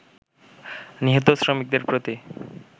নিহত শ্রমিকদের প্রতি